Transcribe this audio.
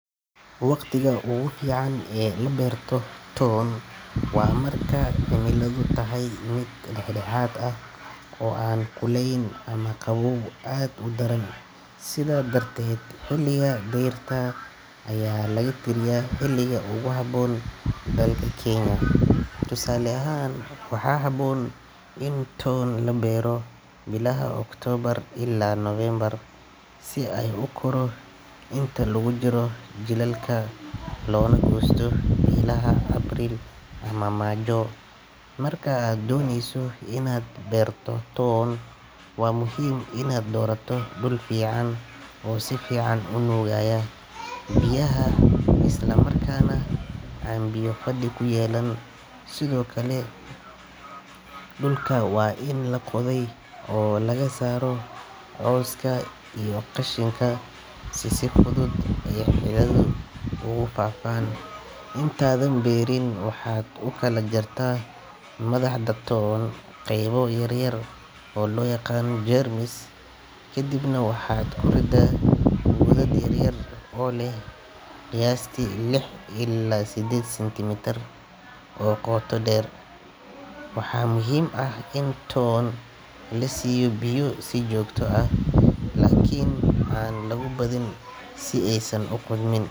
Waqtiga ugu fiican ee la beerto toon waa marka cimiladu tahay mid dhexdhexaad ah oo aan kululayn ama qaboow aad u daran, sidaa darteed xilliga dayrta ayaa lagu tiriyaa xilliga ugu habboon. Dalka Kenya, tusaale ahaan, waxaa habboon in toon la beero bilaha Oktoobar ilaa Nofeembar, si uu u koro inta lagu jiro jiilaalka loona goosto bilaha Abriil ama Maajo. Marka aad dooneyso inaad beerto toon, waa muhiim inaad doorato dhul fiican oo si fiican u nuugaya biyaha isla markaana aan biyo fadhi ku yeelan. Sidoo kale, dhulka waa in la qoday oo laga saaro cawska iyo qashinka si si fudud ay xididdadu ugu faafaan. Intaadan beerin, waxaad u kala jartaa madaxda toon qaybo yar yar oo loo yaqaan jeermis, kaddibna waxaad ku riddaa godad yar yar oo leh qiyaastii lix ilaa sideed sentimitir oo qoto dheer. Waxaa muhiim ah in toon la siiyo biyo si joogto ah, laakiin aan lagu badin si aysan u qudhmin.